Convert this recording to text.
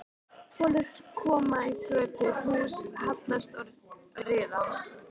Holur koma í götur, hús hallast og riða.